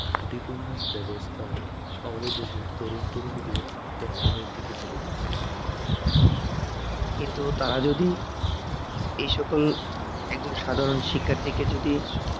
ত্রুটিপূর্ণ ব্যবস্থা আমাদের দেশের তরুন তরুণীদের আত্তহনন এর দিকে ঠেলে দিচ্ছ কিন্তু তারা যদি এ সকল একজন সাধারণ শিক্ষার্থীকে যদি